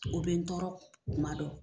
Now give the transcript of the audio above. O bɛ n tɔɔrɔ kuma dɔw